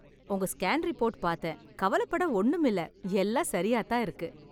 உங்க scan report பார்த்தேன்.. கவலைப் பட ஒண்ணுமில்ல. எல்லாம் சரியாத் தான் இருக்கு.